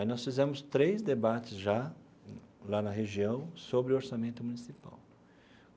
Aí nós fizemos três debates já, lá na região, sobre orçamento municipal.